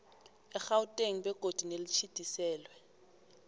egauteng begodu nelitjhidiselwe